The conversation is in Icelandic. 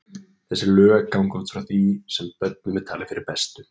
Þessi lög ganga út frá því sem börnum er talið fyrir bestu.